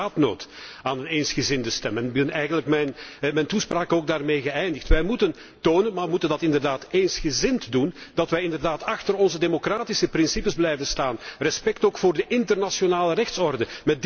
Wij hebben inderdaad behoefte aan een eensgezinde stem en ik heb eigenlijk ook mijn toespraak daarmee geëindigd. Wij moeten tonen maar moeten dat inderdaad eensgezind doen dat wij inderdaad achter onze democratische principes blijven staan, met respect ook voor de internationale rechtsorde.